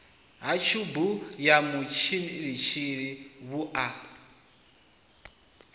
ha tshubu ya mutshilitshili vhua